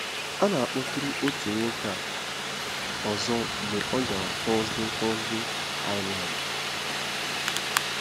A na-akpọtụrụ otu nwoke a ọzọ mgbe ọ gara Thursday Thursday Island.